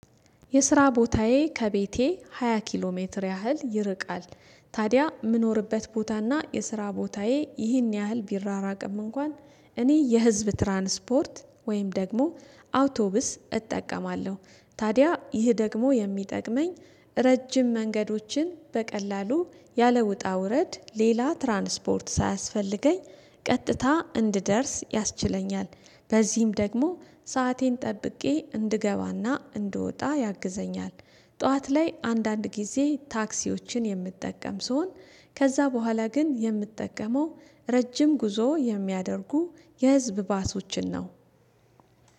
የስራ ቦታዬ ከቤቴ ሃያ ኪሎ ሜትር ያህል ይርቃል። ታዲያ የምኖርበት ቦታና የስራ ቦታዬ ይህን ያህል ቢራራቅም እንኳን እኔ የህዝብ ትራንስፖርት ወይም ደግሞ አውቶብስ እጠቀማለሁ። ታዲያ ይህ ደግሞ የሚጠቅመኝ ረጅም መንገዶችን በቀላሉ ያለውጣ ውረድ ሌላ ትራንስፖርት ሳያስፈልገኝ ቀጥታ እንድደርስ ያስችለኛል። በዚህም ደግሞ ሰአቴን ጠብቄ እንድገባና እንድወጣ ያግዘኛል። ጠዋት ላይ አንዳንድ ጊዜ ታክሲዎችን የምጠቀም ስሆን። ከዛ በኋላ ግን የምጠቀመው ረጅም ጉዞ የሚያደርጉ የህዝብ ባሶችን ነው።